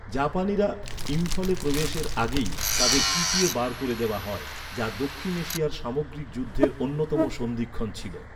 জাপানিরা ইম্ফলে প্রবেশের আগেই তাদের পিটিয়ে বার করে দেওয়া হয়, যা দক্ষিণ এশিয়ার সামগ্রিক যুদ্ধের অন্যতম সন্ধিক্ষণ ছিল।